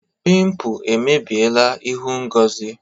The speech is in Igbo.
Pimpụ emebiela ịhụ Ngozi.